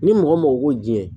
Ni mɔgɔ mɔgɔ ko ji